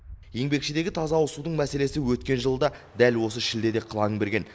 еңбекшідегі таза ауызсудың мәселесі өткен жылы да дәл осы шілдеде қылаң берген